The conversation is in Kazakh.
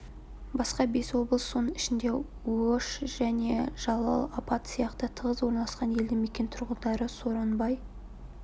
басқа бес облыс соның ішінде ош және жалал-абад сияқты тығыз орналасқан елді мекен тұрғындары сооронбай